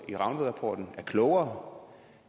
i rangvidrapporten er klogere